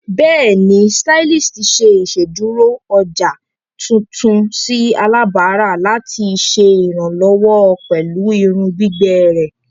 Bẹẹni, stylist ṣe iṣeduro ọja tuntun si alabara lati ṣe iranlọwọ pẹlu irun gbigbẹ rẹ.